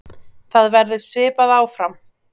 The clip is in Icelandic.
Það verður svipað áfram.